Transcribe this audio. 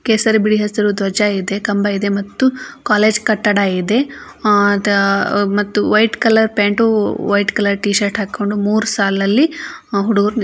ಕೇಸರಿ ಬಿಳಿ ಹಸಿರು ಧ್ವಜ ಇದೆ ಕಂಬ ಇದೆ ಮತ್ತು ಕಾಲೇಜ್ ಕಟ್ಟಡ ಇದೆ ಆ ದ ಮತ್ತು white colour pant white colour T-shirt ಮೂರ್ ಸಾಲನಲ್ಲಿ ಹುಡ್ಗುರು --